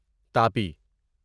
Tapi